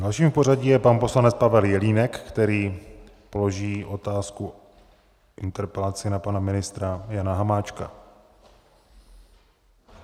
Dalším v pořadí je pan poslanec Pavel Jelínek, který položí otázku, interpelaci na pana ministra Jana Hamáčka.